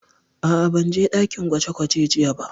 A'a, ban je ɗakin gwaje gwaje jiya ba